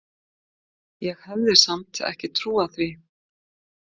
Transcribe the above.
Ég hefði samt ekki trúað því.